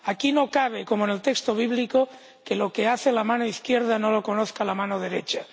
Aquí no cabe, como en el texto bíblico, que lo que hace la mano izquierda no lo conozca la mano derecha.